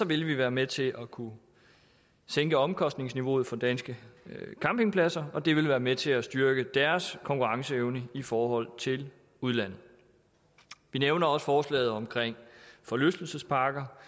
vil vi være med til at kunne sænke omkostningsniveauet for danske campingpladser og det vil være med til at styrke deres konkurrenceevne i forhold til udlandet vi nævner også forslaget om forlystelsesparker